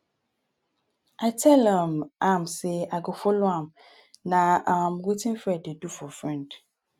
i tell um am say i go follow am. na um wetin friend dey do for friend.